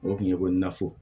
O tun ye ko nafo